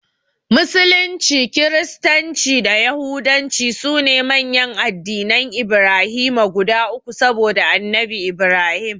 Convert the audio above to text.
Musulunci, Kiristanci da Yahudanci sune manyan addinan Ibrahima guda uku saboda Annabi Ibrahim.